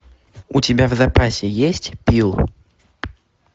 у тебя в запасе есть пил